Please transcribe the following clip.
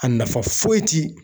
A nafa foyi ti